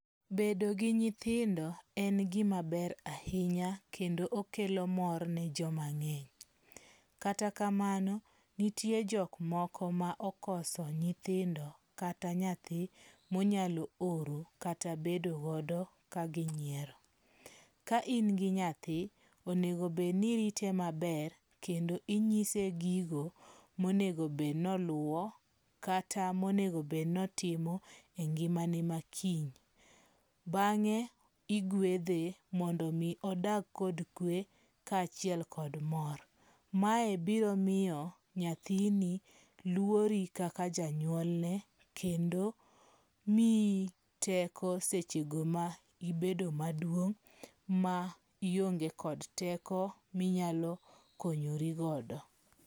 Bedo gi nyithindo en gima ber ahinya kendo okelo mor ne joma ng'eny. Kata kamano, nitie jok moko ma okoso nyithindo kata nyathi monyalo oro kata bedo godo ka ginyiero. Ka in gi nyathi, onego obedni irite maber kendo inyise gigo monego obed noluwo kata monego obed notimo e ngimane ma kiny. Bang'e igwedhe mondo mi odag kod kwe kaachiel kod mor. Mae biro miyo nyathini luori kaka janyuolne kendo miyi teko sechego ma ibedo maduong' ma ionge kod teko minyalo konyori godo.